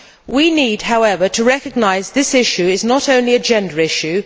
We need, however, to recognise this issue is not only a gender issue.